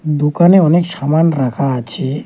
দুকানে অনেক সামান রাখা আছে।